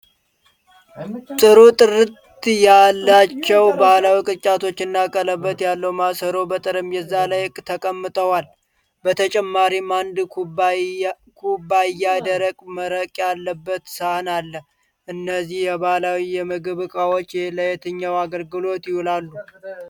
ጥሩ ጥራት ያላቸው ባህላዊ ቅርጫቶችና ቀለበት ያለው ማሰሮ በጠረጴዛ ላይ ተቀምጠዋል። በተጨማሪም አንድ ኩባያ ደረቅ መረቅ ያለበት ሳህን አለ። እነዚህ የባህላዊ የምግብ እቃዎች ለየትኛው አገልግሎት ይውላሉ?